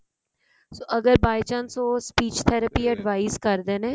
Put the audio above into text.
ਅਗਰ by chance ਉਹ speech therapy ਕਰਦੇ ਨੇ